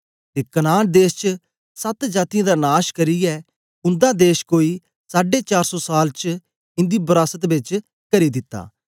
ते कनान देश च सत जातीयें दा नाश करियै उन्दा देश कोई साड़े चार सौ साल च इंदी बरास्त च करी दिता